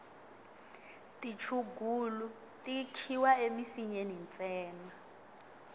tichungulu ti khiwa emisinyeni ntsena